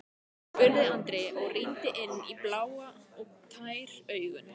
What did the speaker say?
spurði Andri og rýndi inn í blá og tær augun.